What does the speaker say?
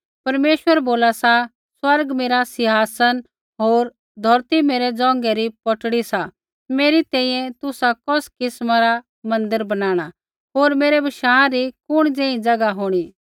परमेश्वर बोला सा स्वर्ग मेरा सिंहासन होर धौरती मेरै ज़ोंघै री पौटड़ी सा मेरी तैंईंयैं तुसा कौस किस्मा रा मन्दिर बणाणा होर मेरै बशाँ री कुण ज़ेही ज़ैगा होंणी